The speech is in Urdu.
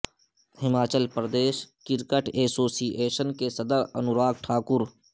Himachal Pradesh cricket association کے صدر انوراگ ٹھاکر